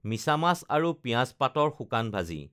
মিছা মাছ আৰু পিয়াজ পাতৰ শুকান ভাজি